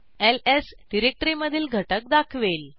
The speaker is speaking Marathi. एलएस डिरेक्टरीमधील घटक दाखवेल